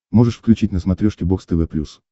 можешь включить на смотрешке бокс тв плюс